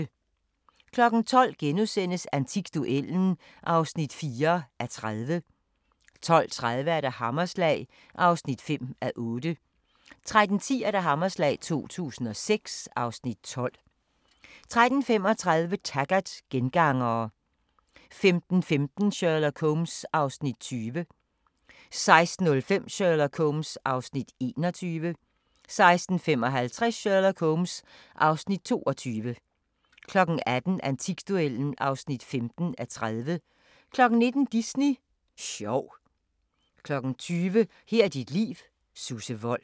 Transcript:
12:00: Antikduellen (4:30)* 12:30: Hammerslag (5:8) 13:10: Hammerslag 2006 (Afs. 12) 13:35: Taggart: Gengangerne 15:15: Sherlock Holmes (Afs. 20) 16:05: Sherlock Holmes (Afs. 21) 16:55: Sherlock Holmes (Afs. 22) 18:00: Antikduellen (15:30) 19:00: Disney sjov 20:00: Her er dit liv: Susse Wold